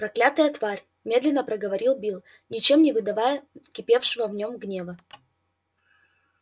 проклятая тварь медленно проговорил билл ничем не выдавая кипевшего в нем гнева